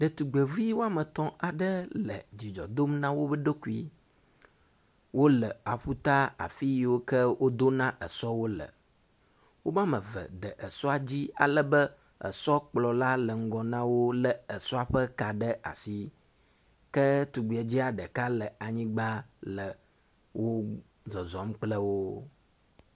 Ɖetugbeviwoametɔ̃ aɖe le dzidzɔdom na woɖokui, wóle aƒuta afiyiwoke wodona esɔwo le, womameve de esɔa dzi alebe esɔkplɔla le ŋgɔ nawó le esɔa ƒe ka ɖe asi, ke tugbedzɛa ɖeka le anyigbã le wó zɔzɔm kple wó